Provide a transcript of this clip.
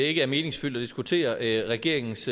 ikke er meningsfyldt at diskutere regeringens